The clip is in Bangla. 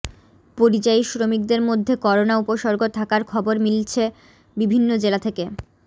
পরিযায়ী শ্রমিকদের মধ্যে করোনা উপসর্গ থাকার খবর মিলছে বিভিন্ন জেলা থেকে